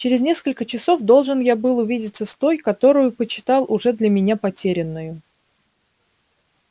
через несколько часов должен я был увидеться с той которую почитал уже для меня потерянною